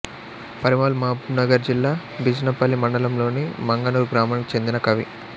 Parimal Mahbubnagar జిల్లా బిజినపల్లి మండలంలోని మంగనూర్ గ్రామానికి చెందిన కవి